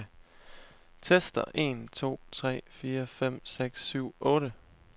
Tester en to tre fire fem seks syv otte.